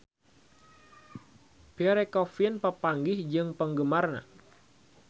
Pierre Coffin papanggih jeung penggemarna